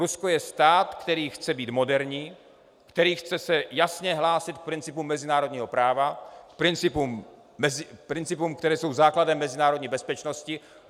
Rusko je stát, který chce být moderní, který se chce jasně hlásit k principům mezinárodního práva, k principům, které jsou základem mezinárodní bezpečnosti.